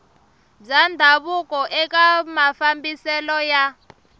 bya ndhavuko eka mafambiselo ya